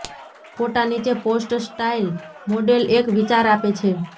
ફોટા નીચે post style model એક વિચાર આપે છે